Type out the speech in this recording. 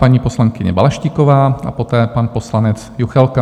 Paní poslankyně Balaštíková a poté pan poslanec Juchelka.